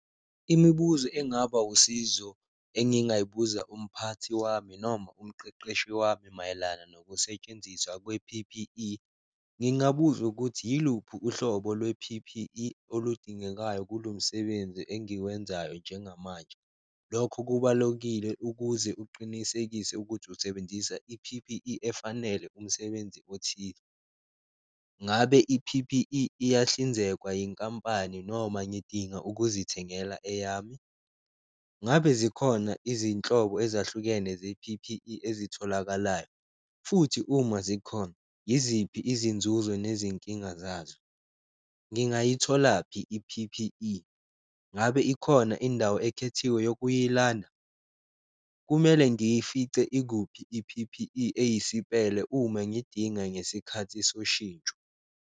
Imibuzo engaba usizo engingayibuza umphathi wami noma umqeqeshi wami mayelana nokusetshenziswa kwe-P_P_E, ngingabuza ukuthi yiluphi uhlobo lwe-P_P_E oludingekayo kulo msebenzi engiwenzayo njengamanje? Lokho kubalokile ukuze uqinisekise ukuthi usebenzisa i-P_P_E efanele umsebenzi othile. Ngabe i-P_P_E iyahlinzekwa yinkampani noma ngidinga ukuzithengela eyami? Ngabe zikhona izinhlobo ezahlukene ze-P_P_E ezitholakalayo, futhi uma zikhona yiziphi izinzuzo nezinkinga zazo? Ngingayitholaphi i-P_P_E, ngabe ikhona indawo ekhethiwe yokuyilanda? Kumele ngiyifice ikuphi i-P_P_E eyisipele uma ngidinga ngesikhathi soshintsho?